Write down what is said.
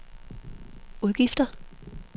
udgifter